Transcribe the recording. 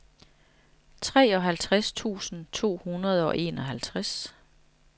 treoghalvtreds tusind to hundrede og enoghalvfjerds